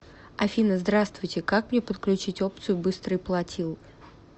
афина здравствуйте как мне подключить опцию быстрый платил